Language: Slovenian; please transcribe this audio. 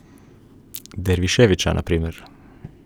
Derviševića na primer.